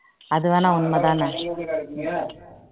அது வேணா உன்மை தானே